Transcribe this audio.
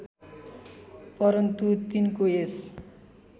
परन्तु तिनको यस